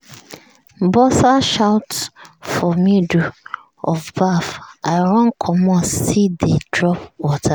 buzzer shout for middle of baff i run commot still dey drop water.